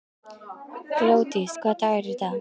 Glódís, hvaða dagur er í dag?